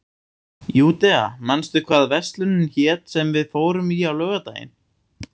Júdea, manstu hvað verslunin hét sem við fórum í á laugardaginn?